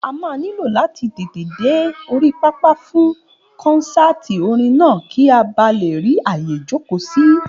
A máa nílò láti tètè dé orí pápá fún kọ́nsáàti orin náà kì a ba lè rí àyè jókòó sí